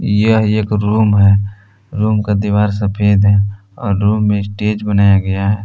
यह एक रूम है रूम का दीवार सफेद है और रूम में स्टेज बनाया गया है।